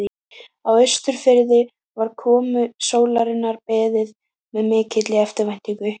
Á Austurfirði var komu sólarinnar beðið með mikilli eftirvæntingu.